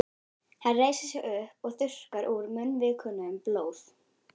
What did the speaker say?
Hann reisir sig upp og þurrkar úr munnvikunum blóð.